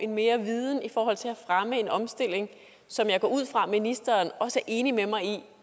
mere viden i forhold til at fremme en omstilling som jeg går ud fra at ministeren også er enig med mig i